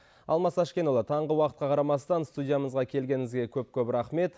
алмас әшкенұлы таңғы уақытқа қарамастан студиямызға келгеніңізге көп көп рахмет